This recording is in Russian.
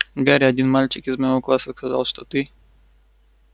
гарри один мальчик из моего класса сказал что ты